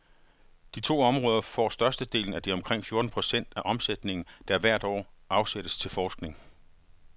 De to områder får størstedelen af de omkring fjorten procent af omsætningen, der hvert år afsættes til forskning.